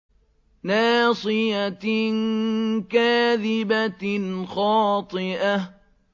نَاصِيَةٍ كَاذِبَةٍ خَاطِئَةٍ